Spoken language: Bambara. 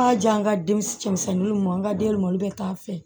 A y'a diya n ka den cɛmisɛnninw an ka denba bɛ k'a fɛ